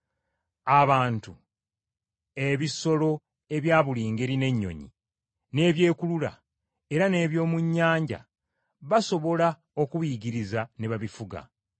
Abantu, ebisolo ebya buli ngeri n’ennyonyi, n’ebyekulula, era n’eby’omu nnyanja basobola okubiyigiriza ne babifuga,